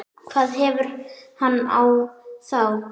hvað hefur hann á þá?